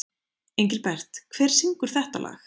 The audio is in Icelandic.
Engilbert, hver syngur þetta lag?